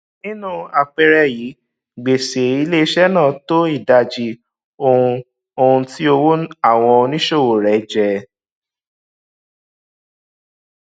nínú àpẹẹrẹ yìí gbèsè iléiṣẹ náà tó ìdajì ohun ohun tí owó àwọn oníṣòwò rẹ jẹ